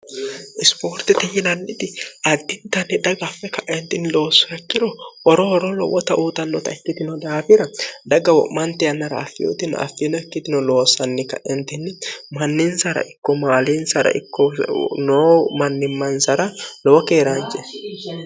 isipoortiti yilanniti addintanni dhaga affe ka'entini loosirakkiro horohoro lowwota uutannota ikkitino daafira dhagga wo'manti yannara affiyutin affiino ikkitino loosanni ka'entinni manninsara ikko maaliinsara ikkonoo mannimmansara lowo keeraanje